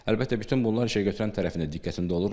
Əlbəttə bütün bunlar işə götürən tərəfin də diqqətində olur.